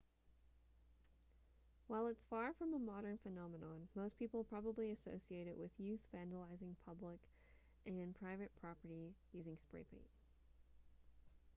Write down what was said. while it's far from a modern phenomenon most people probably associate it with youth vandalizing public and private property using spray paint